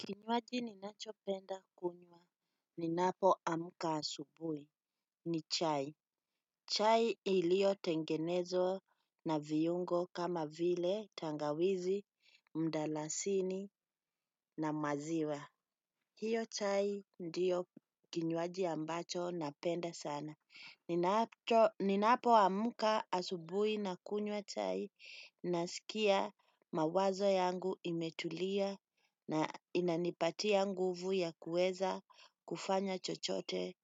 Kinywaji ninachopenda kunywa ninapoamka asubuhi ni chai. Chai iliyotengenezwa na viungo kama vile tangawizi, mdalasini na maziwa. Hiyo chai ndiyo kinywaji ambacho napenda sana. Ninapoamka asubui nakunywa chai, nasikia mawazo yangu imetulia na inanipatia nguvu ya kueza kufanya chochote